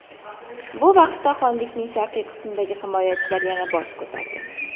Bu vaqtda xonlikning sharqiy qismidagi himoyachilar yana bosh ko‘tardi.